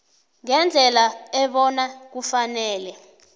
ngendlela ebona kufanele